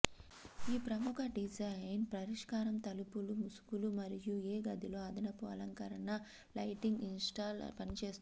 ఈ ప్రముఖ డిజైన్ పరిష్కారం తలుపులు ముసుగులు మరియు ఏ గదిలో అదనపు అలంకరణ లైటింగ్ ఇన్స్టాల్ పనిచేస్తుంది